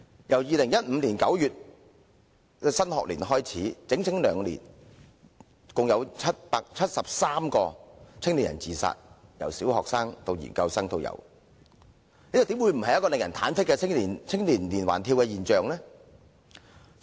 由2015年9月的新學年至今，兩年已有合共73名年輕人自殺，由小學生到研究生也有，這怎不會不是令人忐忑的青年連環跳樓現象？